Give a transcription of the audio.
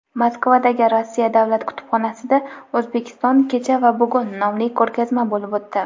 Moskvadagi Rossiya davlat kutubxonasida "O‘zbekiston: kecha va bugun" nomli ko‘rgazma bo‘lib o‘tdi.